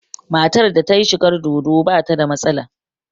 Matar da ta yi shigar dodo ba ta da matsala